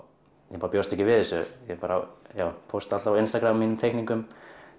ég bjóst ekki við þessu ég pósta alltaf á mínum teikningum